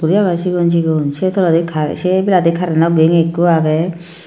lega agey cigon cigon say toledi cure se ebeladi ekko curreno geng ekku agey.